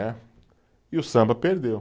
Né, e o samba perdeu.